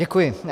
Děkuji.